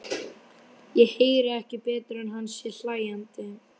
Ég heyri ekki betur en að hann sé hlæjandi.